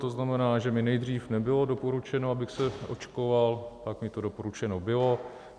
To znamená, že mi nejdřív nebylo doporučeno, abych se očkoval, pak mi to doporučeno bylo.